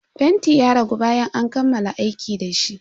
Fentin ya ragu bayan an kammala aiki dashi.